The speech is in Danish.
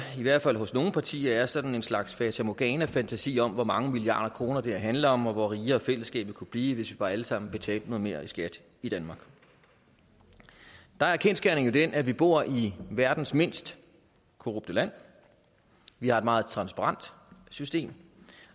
i hvert fald hos nogle partier er sådan en slags fata morgana fantasi om hvor mange milliarder kroner det her handler om og hvor meget rigere fællesskabet kunne blive hvis vi bare alle sammen betalte noget mere i skat i danmark der er kendsgerningen jo den at vi bor i verdens mindst korrupte land vi har et meget transparent system